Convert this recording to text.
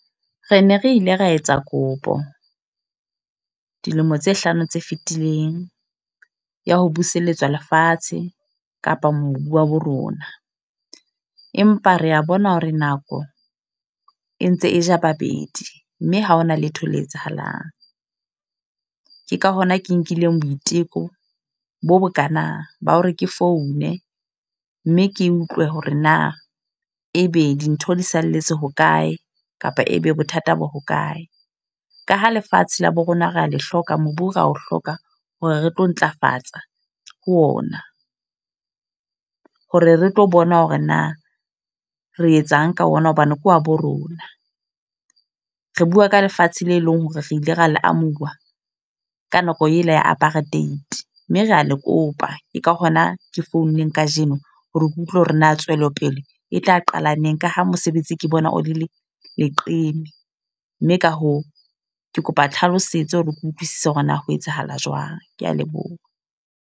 Re ne re ile ra etsa kopo, dilemo tse hlano tse fetileng. Ya ho buseletswa lefatshe, kapa mobu wa bo rona. Empa re a bona hore nako e ntse e ja babedi. Mme ha hona letho le etsahalang. Ke ka hona ke nkileng boiteko, bo bo kana ba hore ke foune. Mme ke utlwe hore na ebe dintho di salletse hokae, kapa ebe bothata bo hokae. Ka ha lefatshe la bo rona rea le hloka mobu, ra ho hloka hore re tlo ntlafatsa ho ona. Hore re tlo bona hore na re etsang ka ona hobane ke wa bo rona. Re bua ka lefatshe le leng hore re ile ra le amuwa ka nako e la ya apartheid. Mme re a le kopa, ke ka hona ke founeng kajeno hore ke utlwe hore na tswelopele e tla qala neng. Ka ha mosebetsi ke bona o le le leqeme. Mme ka hoo, ke kopa tlhalosetso hore ke utlwisise hore na ho etsahala jwang. Ke a leboha.